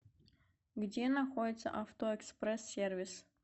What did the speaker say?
где находится авто экспресс сервис